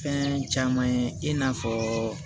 Fɛn caman ye i n'a fɔ